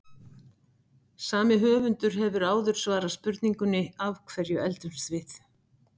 Sami höfundur hefur áður svarað spurningunni Af hverju eldumst við?